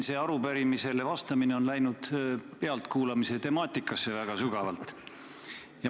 Sellele arupärimisele vastamine on väga sügavalt pealtkuulamise temaatikasse läinud.